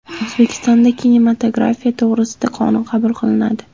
O‘zbekistonda kinematografiya to‘g‘risida qonun qabul qilinadi.